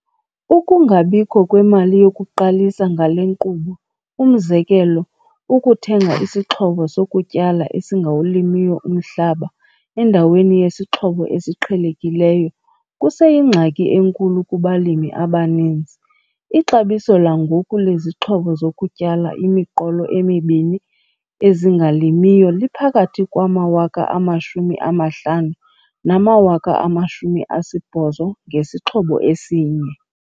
Ukungabikho kwemali yokuqalisa ngale nkqubo, umzekelo, ukuthenga isixhobo sokutyala esingawulimiyo umhlaba endaweni yesixhobo esiqhelekileyo, kuseyingxaki enkulu kubalimi abaninzi. Ixabiso langoku lezixhobo zokutyala imiqolo emibini ezingalimiyo liphakathi kwama-R50 000 nama-R80 000 ngesixhobo esinye.